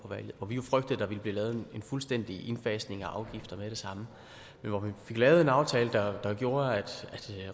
hvor vi jo frygtede at der ville blive lavet en fuldstændig indfasning af afgifter med det samme men hvor vi fik lavet en aftale der gjorde at